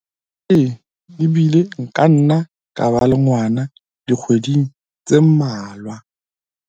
ke mmeleng ebile nka nna ka ba le ngwana dikgweding tse mmalwa